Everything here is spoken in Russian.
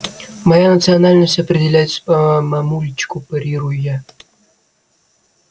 моя национальность определяется по мамульчику парирую я